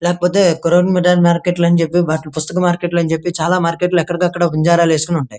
లేకపోతే కొరవనమిట మార్కెట్ లని చెప్పి పుస్తకం మార్కెట్ లని చెప్పి చాలా మార్కెట్ లు ఎక్కడికాకడ బంజారా లీస్టలు ఉంటాయి.